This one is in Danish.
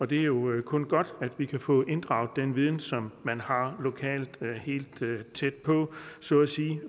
det er jo kun godt at vi kan få inddraget den viden som man har lokalt helt tæt på så at sige